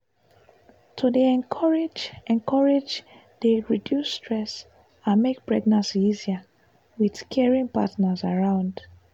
to dey encourage encourage dey reduce stress and make pregnancy easier with caring partners around.